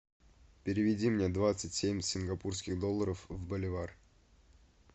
переведи мне двадцать семь сингапурских долларов в боливар